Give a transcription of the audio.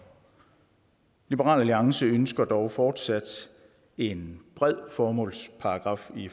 liberal alliance ønsker dog fortsat en bred formålsparagraf i